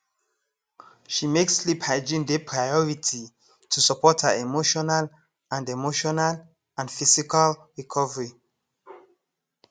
she make sleep hygiene dey priority to support her emotional and emotional and physical recovery